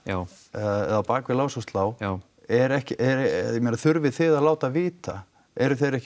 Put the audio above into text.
eða á bak við lás og slá er ekki ég meina þurfið þið að láta vita eru þeir ekki